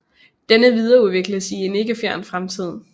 Denne videreudvikles i en ikke fjern fremtid